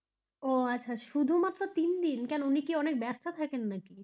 ও আচ্ছা শুধু মাত্র তিনদিন কেন উনি কি অনেক ব্যস্ত থাকেন নাকি?